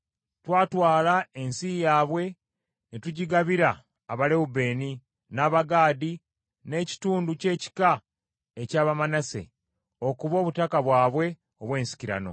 Twatwala ensi yaabwe, ne tugigabira Abalewubeeni, n’Abagaadi, n’ekitundu ky’ekika eky’Abamanase, okuba obutaka bwabwe obw’ensikirano.